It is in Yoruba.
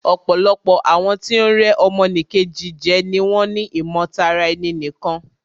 Ọ̀pọ̀lọpọ̀ àwọn tí o ń rẹ́ ọmọ nì Kejì jẹ ni wọ́n ni ìmọ̀ tara ẹni nìkan.